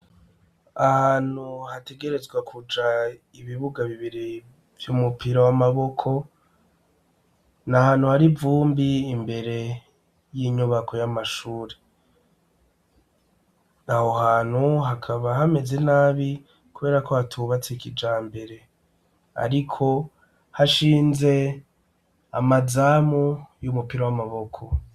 Ahantu hategerezwa kuja ibibuga bibiri vy'umupira w'amaboko. Ni ahantu hari ivumbi, imbere y'inyubako y'amashure. Aho hantu hakaba hameze nabi kuberako hatubatse kijambere. Ariko hashinze amazamu y'umupira w'amaboko.